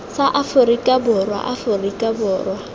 sa aforika borwa aforika borwa